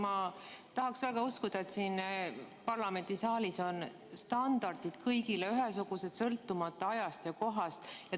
Ma tahaksin väga uskuda, et siin parlamendisaalis on standardid kõigile ühesugused, sõltumata ajast ja kohast.